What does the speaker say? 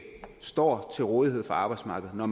står til rådighed for arbejdsmarkedet når